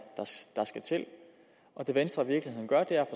skal til det venstre i virkeligheden gør er